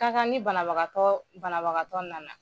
Ka kan ni banabagatɔɔ banabagatɔ nana